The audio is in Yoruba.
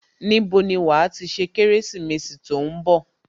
Níbo ni wàá ti ṣe ọdún Kérésìmesì tó ń bọ̀